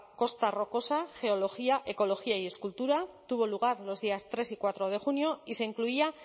costa rocosa geología ecología y escultura tuvo lugar los días tres y cuatro de junio y se incluía